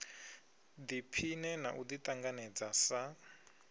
ḓiphine na u ḓiṱanganedza sa